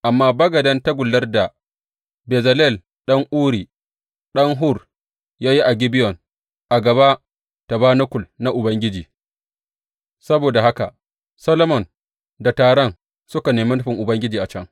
Amma bagaden tagullar da Bezalel ɗan Uri, ɗan Hur, ya yi a Gibeyon a gaba tabanakul na Ubangiji; saboda haka Solomon da taron suka neme nufin Ubangiji a can.